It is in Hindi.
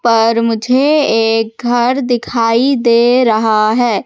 पर मुझे एक घर दिखाई दे रहा है।